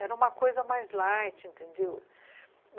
Era uma coisa mais light, entendeu?